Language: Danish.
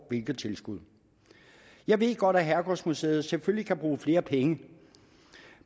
hvilke tilskud jeg ved godt at herregårdsmuseet selvfølgelig kan bruge flere penge